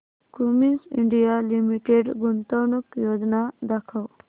Cummins India Limited गुंतवणूक योजना दाखव